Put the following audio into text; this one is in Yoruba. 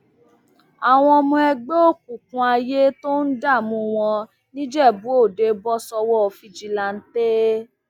àwọn ọmọ ẹgbẹ òkùnkùn ayé tó ń dààmú wọn nìjẹbúòde bọ sọwọ fìjìláńtẹ